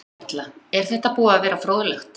Erla: Er þetta búið að vera fróðlegt?